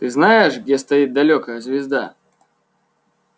ты знаешь где стоит далёкая звезда